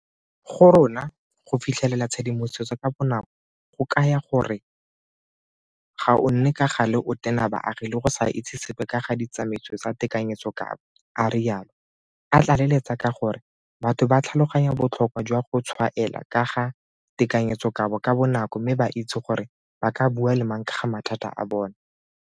Go rona, go fitlhelela tshedimosetso ka bonako go kaya gore ga o nne ka gale o tena baagi le go sa itse sepe ka ga ditsamaiso tsa tekanyetsokabo, a rialo, a tlaleletsa ka gore batho ba tlhaloganya botlhokwa jwa go tshwaela ka ga tekanyetsokabo ka bonako mme ba itse gore ba ka bua le mang ka ga mathata a bona.